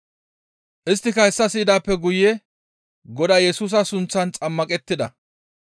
Isttika hessa siyidaappe guye Godaa Yesusa sunththan xammaqettida.